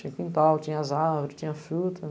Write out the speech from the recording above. Tinha quintal, tinha as árvores, tinha a fruta.